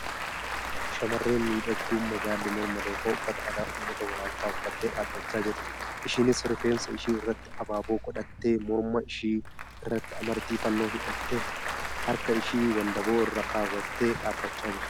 Shamarreen miidhagduu magaalli morma lookoo uffata aadaa uummata Walaayittaa uffattee dhaabbachaa jirti. Isheenis rifeensa ishee irratti abaaboo godhattee morma. ishee irratti amartii fannoo hidhattee harka ishee wandaboo irra keewwattee dhaabbachaa jirti.